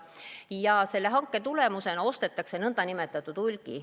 Ja selle hanke tulemusena ostetakse n-ö hulgi.